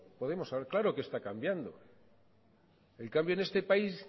podemos hablar claro que está cambiando el cambio en este país